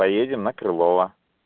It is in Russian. поедем на крылова